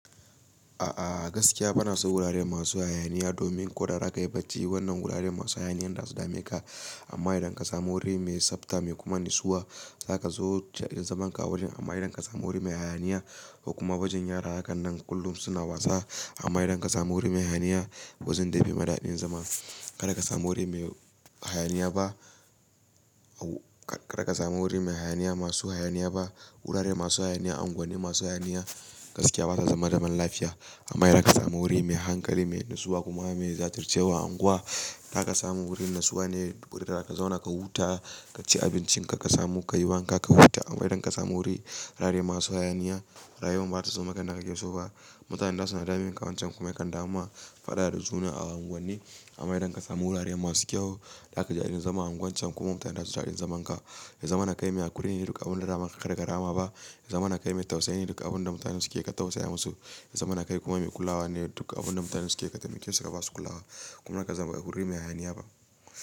A'a gaskiya bana so wurare masu hayaniya domin ko da raka yi bacci wannan wurare masu hayaniya za su dame ka. Amma idan ka samu wuri mai tsabta mai kuma natsuwa za ka zo jajin zaman ka wurin. Amma idan ka samu wuri mai hayaniya kuma bajin yara hakan nan kullum suna wasa amma idan ka samu wuri mai hayaniya ba zan dai bai ma daɗin zama. Kada ka samu wuri mai hayaniya ba wuri mai hayaniya masu hayaniya ba. Wurare masu hayaniya, unguwanni masu hayaniya gaskiya basa zama zaman lafiya. Amma idan ka samu wuri mai hankali, mai natsuwa kuma mai zatircewa anguwa, taka samu wurin natsuwa ne wurin da za ka zauna ka huta, ka ci abincin ka, ka samu ka yi wanka ka huta. Amma idan ka samu wuri wurare masu hayaniya, rayuwan bata zoma a yadda kake so ba. Mutanen za su na dame ka wancan kuma yakan dama faɗa da juna a unguwanni. Amma idan ka samu wurare masu kyau, za ka ji daɗin zama a unguwar can kuma mutanen za su ji daɗin zaman ka. Yazama na kai mai hakuri ne duk abun da dama ka karka rama ba. Zama na kai mai tausayi ne duk abun da mutanen suke ka tausaya masu. Zama na kai kuma mai kulawa ne duk abun da mutanen suke ka taimke su da ba su kula ba. Kuma ka zama a wuri mai hayaniya ba.